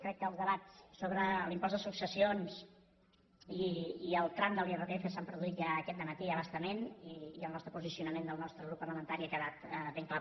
crec que els debats sobre l’impost de successions i el tram de l’irpf s’han produït ja aquest dematí a bastament i el nostre posicionament del nostre grup parlamentari ha quedat ben clar